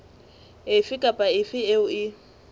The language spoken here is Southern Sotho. efe kapa efe eo e